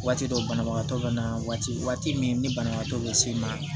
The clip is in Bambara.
Waati dɔ banabagatɔ bɛ na waati min ni banabagatɔ bɛ s'i ma